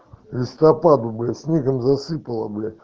листопад бля снегом засыпало блять